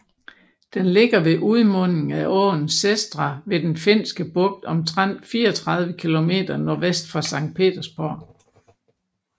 Den ligger ved udmundingen af åen Sestra ved Den Finske Bugt omtrent 34 kilometer nordvest for Sankt Petersborg